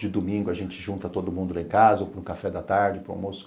De domingo a gente junta todo mundo lá em casa ou para o café da tarde, para o almoço.